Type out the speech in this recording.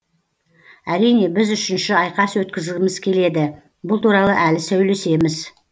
әрине біз үшінші айқас өткізгіміз келеді бұл туралы әлі сөйлесеміз